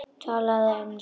Talaðu ensku!